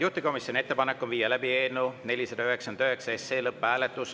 Juhtivkomisjoni ettepanek on viia läbi eelnõu 499 lõpphääletus.